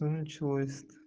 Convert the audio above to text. ну началось это